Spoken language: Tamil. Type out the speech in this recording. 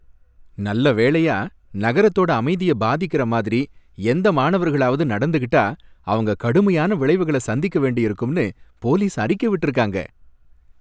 நல்ல வேளையா, நகரத்தோட அமைதிய பாதிக்குற மாதிரி எந்த மாணவர்களாவது நடந்துகிட்டா, அவங்க கடுமையான விளைவுகள சந்திக்க வேண்டியிருக்கும்னு போலீஸ் அறிக்கை விட்டிருக்காங்க.